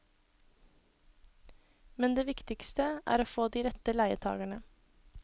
Men det viktigste er å få de rette leietagerne.